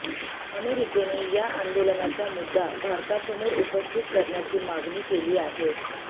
अमेरिकेने या आंदोलनाचा मुद्दा भारतासमोर उपस्थित करण्याची मागणी केली आहे